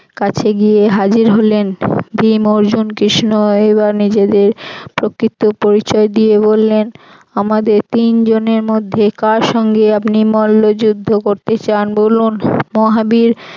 কাছে গিয়ে হাজির হলেন ভীম অর্জুন কৃষ্ণ এইবার নিজেদের প্রকৃত পরিচয় দিয়ে বললেন আমাদের তিনজনের মধ্যে কার সঙ্গে আপনি মল্ল যুদ্ধ করতে চান বলুন মহাবীর